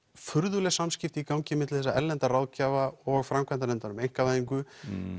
furðuleg samskipti í gangi á milli þessara erlenda ráðgjafa og framkvæmdarnefndar um einkavæðingu